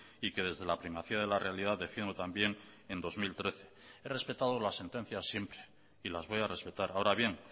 y que desde la primacía de la realidad defiendo también en dos mil trece he respetado las sentencias siempre y las voy a respetar ahora bien